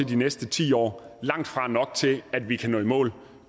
de næste ti år langtfra nok til at vi kan nå i mål